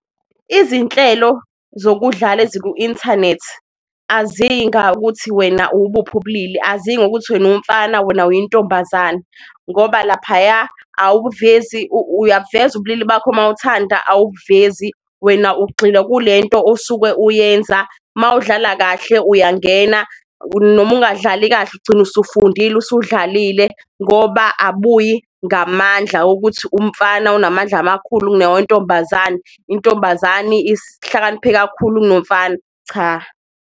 Izinhlelo zokudlala eziku-inthanethi aziyi ngokuthi wena uwubuphi obulili, aziyi ngokuthi wena umfana wena uyintombazane ngoba laphaya uyabuveza ubulili bakho mawuthanda awubuvezi wena ugxilwa kulento osuke uyenza. Mawudlala kahle uyangena noma ungadlali kahle ugcine usufundile usudlalile, ngoba abuyi ngamandla wokuthi umfana unamandla amakhulu nawo ntombazane, intombazane ihlakaniphe kakhulu kunomfana, cha.